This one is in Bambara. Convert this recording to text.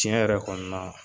Tiɲɛ yɛrɛ kɔni na